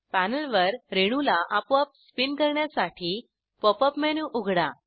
पॅनेलवर रेणूला आपोआप स्पिन करण्यासाठी पॉप अप मेनू उघडा